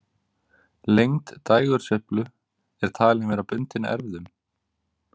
Lengd dægursveiflu er talin vera bundin erfðum.